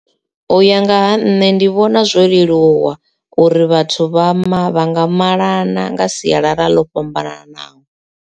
U ya nga ha nṋe ndi vhona zwo leluwa uri vhathu vha ma vha nga malana nga sialala ḽo fhambananaho.